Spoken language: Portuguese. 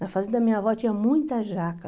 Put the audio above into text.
Na fazenda, minha avó tinha muita jaca.